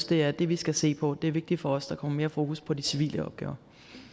det er det vi skal se på det er vigtigt for os at der kommer mere fokus på de civile opgaver